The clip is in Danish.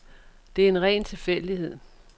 Det er en ren tilfældighed.